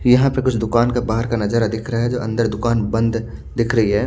यहाँ पे कुछ दुकान का बहार का नजारा दिख रहा है जो अंदर दुकान बंध दिख रही है।